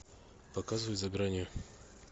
показывай за гранью